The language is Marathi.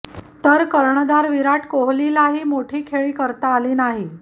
तर कर्णधार विराट कोहलीलाही मोठी खेळी करता आली नाही